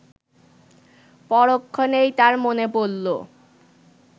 পরক্ষণেই তার মনে পড়ল